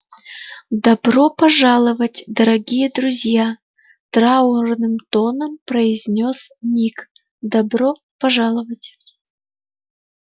добро пожаловать дорогие друзья траурным тоном произнёс ник добро пожаловать